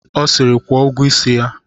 Ọ siri, kwụọ ụgwọ isi ya!